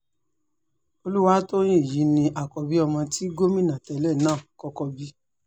olùwátòyìn yìí ni àkọ́bí ọmọ tí gómìnà tẹ́lẹ̀ náà kọ́kọ́ bí